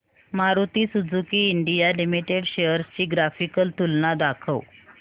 Maruti Suzuki India Limited shares ची graphical तुलना दाखव